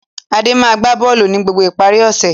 Adé máa ń gbá bọ́ọ́lù ní gbogbo ìparí ọ̀sẹ̀.